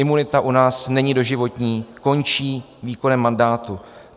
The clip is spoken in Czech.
Imunita u nás není doživotní, končí výkonem mandátu.